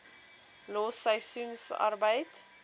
los seisoensarbeid